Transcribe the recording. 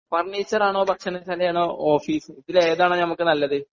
ഫർണിച്ചറാണോ ഭക്ഷണശാലയാണോ ഓഫീസ് ഇതിൽ ഏതാണ് ഞമ്മക്ക് നല്ലത്?